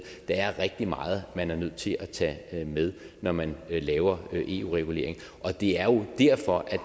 der er rigtig meget man er nødt til at tage med når man laver eu regulering og det er jo derfor at